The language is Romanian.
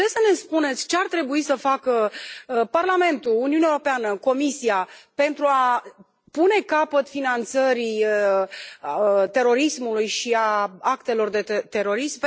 Puteți să ne spuneți ce ar trebui să facă Parlamentul, Uniunea Europeană, Comisia, pentru a pune capăt finanțării terorismului și a actelor de terorism?